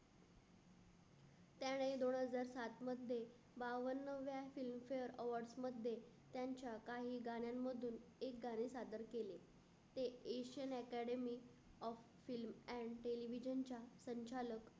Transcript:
त्याने दोन हजार सात मध्ये बावन्नव्या Film Fair Awards मध्ये त्यांच्या काही गाण्यांमधून एक गाणं सादर केले. ते इसन Academy of Film and Television च्या संचालय